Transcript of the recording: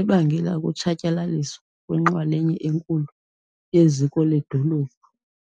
ebangele ukutshatyalaliswa kwenxalenye enkulu yeziko ledolophu.